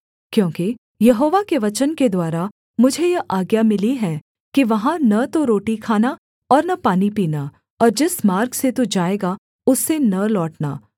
क्योंकि यहोवा के वचन के द्वारा मुझे यह आज्ञा मिली है कि वहाँ न तो रोटी खाना और न पानी पीना और जिस मार्ग से तू जाएगा उससे न लौटना